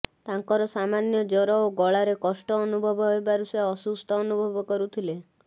ତାଙ୍କର ସାମାନ୍ୟ ଜ୍ୱର ଓ ଗଳାରେ କଷ୍ଟ ଅନୁଭବ ହେବାରୁ ସେ ଅସୁସ୍ଥ ଅନୁଭବ କରୁଥିଲେ